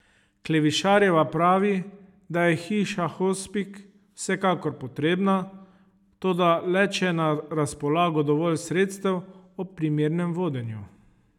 Klevišarjeva pravi, da je Hiša hospic vsekakor potrebna, toda le če je na razpolago dovolj sredstev ob primernem vodenju.